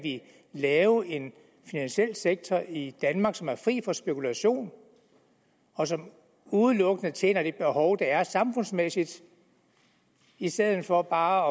lave en finansiel sektor i danmark som er fri for spekulation og som udelukkende tjener et behov der er samfundsmæssigt i stedet for bare